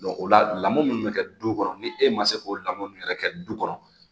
o lamɔn minnu bɛ kɛ du kɔnɔ ni e ma se k'o lamɔ ninnu yɛrɛ kɛ du kɔnɔ